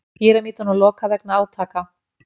Pýramídunum lokað vegna átaka